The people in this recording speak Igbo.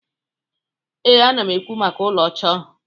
Ee, m na-ekwu maka ụlọ ọcha ahụ.